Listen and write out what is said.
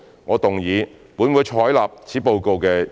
我動議"本會採納此報告"的議案。